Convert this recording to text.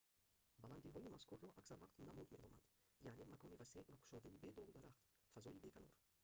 баланддиҳои мазкурро аксар вақт намуд меноманд яъне макони васеъ ва кушодаи бе долу дарахт фазои беканор